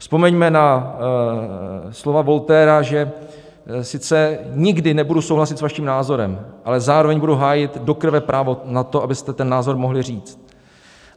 Vzpomeňme na slova Voltaira, že "sice nikdy nebudu souhlasit s vaším názorem, ale zároveň budu hájit do krve právo na to, abyste ten názor mohli říct".